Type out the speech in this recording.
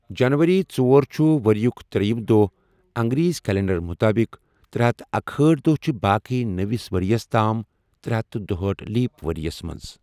جَنؤری ژۄر چھُ ؤریُک ترٛےیِم دۄہ اَنگریزی کیلنڈَر مُطٲبِق، ترے ہتھَ اکہأٹھ دۄہ چھِ باقی نٔوِس ؤریَس تام ترےہتھ دُہاٹھ لیپ ؤریَس مَنٛز۔